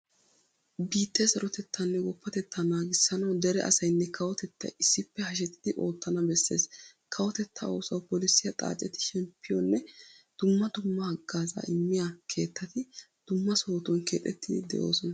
Biittee sarotettaanne woppatettaa naagissanawu dere asaynne kawotettay issippe hashetidi oottana bessees. Kawotettaa oosuwa polissiya xaaceti shemppiyonne dumma dumma haggaazaa immiya keettati dumma sohotun keexettiiddi de'oosona.